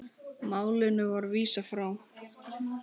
Málinu var vísað frá.